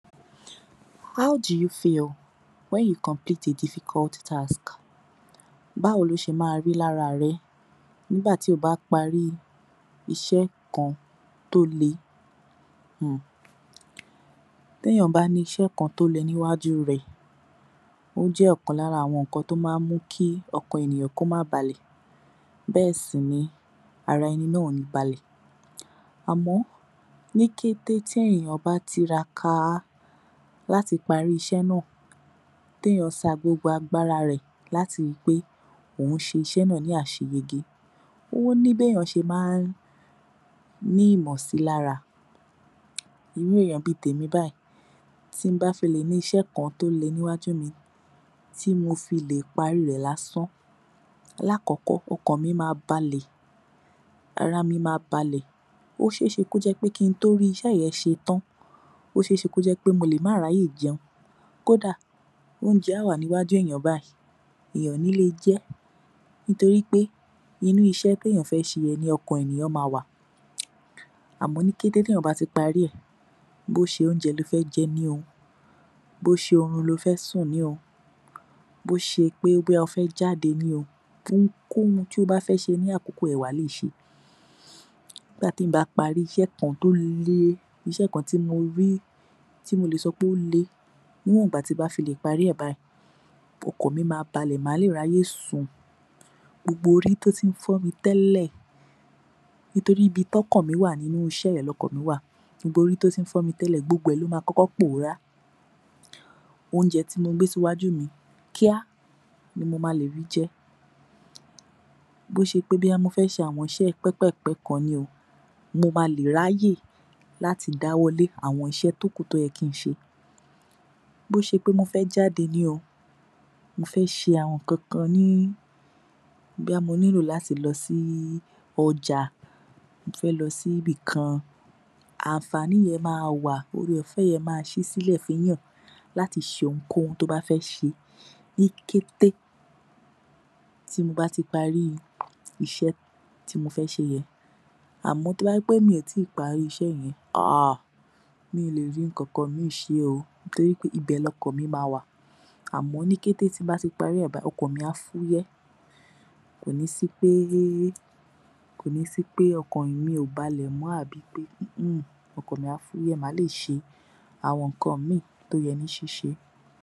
(How do you feel when you complete a difficult task?) Báwo ló ṣe má a rí lára rẹ nígbà tí o bá parí iṣẹ́ kan tó le? hmm T’éèyàn bá ní iṣẹ́ kan tó le níwájú rẹ, ó jẹ́ ọ̀kan lára àwọn nǹkan tó má ń mú kí ọ̀kan ènìyàn kó má balẹ̀. Bẹ́ẹ̀ sì ni, ara ẹni náà ò ni balẹ̀. Àmọ́ ní kété tí ènìyàn bá tiraka láti parí iṣẹ́ náà, t’éèyàn sa gbogbo agbára rẹ̀ láti rí i pé òún ṣe iṣẹ́ náà ní àṣeyege, o ni b’éèyàn ṣe má ń ní ìmọ̀si lára. Irú èèyàn bí i tèmi bayìí, tí m bá fi le ní iṣẹ́ kan tó le níwájú mi, tí mo fi le parí rẹ̀ lásán, l’akọ́kọ́ okàn mi máa balẹ̀, ara mi máa balẹ̀. Ó ṣeé ṣe kó jẹ́ pé kí n tó rí iṣẹ́ yẹn ṣe tán, ó ṣeé ṣe kó jẹ́ pé mo le má r’áyè jẹun. Kóda óúnjẹ á wà niwaju èèyàn bayìí, èèyàn ò ní le jẹ é nítorí pé inu iṣẹ́ t’éèyàn fé ṣe yẹn ni ọkàn èniyàn máa wà. Àmọ́ ní kété tí èèyàn bá ti parí ẹ̀,bó ṣe óúnjẹ lo fẹ́ jẹ ni o, bó ṣe orun lo fẹ́ sùn ni o, bó ṣe pé bóyá o fé jáde ni o, ohunkóhun tí o bá fé ṣe ní àkóko yẹn wà le ṣe é. Nígbà tí èèyàn bá parí iṣẹ́ kan tó le, iṣẹ́ kan tí mo rí tí mo le sọ pé ó le, níwọ̀n ìgbà tí m bá filè parí ẹ̀ bayìí, ọkàn mi máa balẹ̀, máa le r’áyè sùn. Gbogbo orí tó ti ń fọ́ mi tẹ́lẹ̀ nítorí ibi t’ọ́kàn mi wà, nínú iṣẹ́ yẹn l’ọkàn mi wà, gbogbo orí tó ti ń fọ́ mi tẹ́lẹ̀, gbogbo ẹ̀ ló máa kọ́kọ́ pòórá. Óúnjẹ tí mo gbé síwájú mi, kíá ni mo máa lè rí i jẹ. Bó ṣe pé bóyá mo fé ṣe àwọn iṣẹ́ pẹ́pẹ̀pẹ́ kan ni o, mo máa lè r’áyè láti dáwọ́ lé àwọn iṣẹ́ tó kù tó yẹ kí n ṣe. Bó ṣe pé mo fẹ́ jáde ni, mo fé ṣe àwọn ǹkankan ni, bóyá mo nílò láti lọ sí ọjà, mo fẹ́ lọ s'íbìkan, àǹfààní yẹn máa wà, ore ọ̀fé yẹn máa ṣí sílẹ̀ fúnyàn láti ṣe ohunkóhun tó bá fẹ́ ṣe ní kété tí mo bá ti parí iṣẹ́ tí mo fé ṣe yẹn. Àmọ́ tó bá jẹ́ pé mi ò tíì parí iṣẹ́ yẹn, aarrgh mi ò le rí ǹkankan míì ṣe o nítorí pé ibẹ̀ l’ọ̀kan mi máa wà. Àmọ́ ní kété tí mo bá ti parí ẹ̀ bayìí, ọkàn mi á fúyẹ́. Kò ní sí pé… ko ní sí pé ọkàn mi ò balẹ̀ mọ́ àbí pé, hmmhmm ọkàn mi á fúyẹ́, maá le ṣe àwọn nǹkan míì tó yẹ ní ṣíṣe.